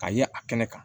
Ka ye a kɛnɛ kan